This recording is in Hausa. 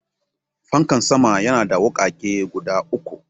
Fankan sama yana da wukake guda uku.